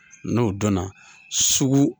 N'o dɔnna sugu